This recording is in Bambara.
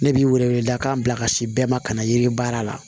Ne bi wele wele dakan bila ka si bɛɛ ma ka na yiri baara la